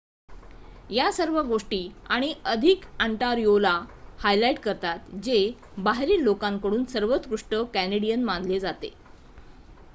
या सर्व गोष्टी आणि अधिक ऑन्टारियोला हायलाईट करतात जे बाहेरील लोकांकडून सर्वोत्कृष्ट कॅनेडियन मानले जाते